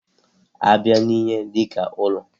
A bịa n'ihe dika ụlọ.